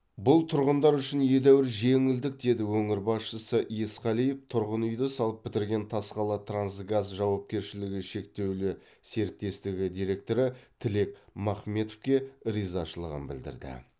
бұл тұрғындар үшін едәуір жеңілдік деді өңір басшысы есқалиев тұрғын үйді салып бітірген тасқалатрансгаз жауапкершілігі шектеулі серіктестігі директоры тілек махметовке ризашылығын білдірді